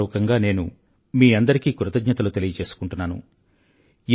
హృదయపూర్వకంగా నేను మీ అందరికీ కృతజ్ఞతలు తెలియజేసుకుంటున్నాను